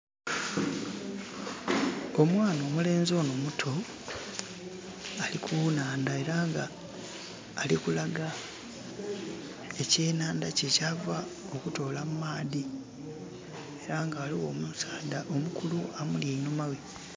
Omwana omulenzi ono omutu ali kunaandha era nga ali kulaga ekyenandha kye kyava okutoola mu maadhi era nga waliwo omusaadha omukulu ali einhuma we